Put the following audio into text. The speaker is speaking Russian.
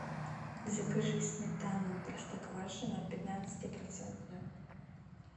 закажи сметану простоквашино пятнадцати процентную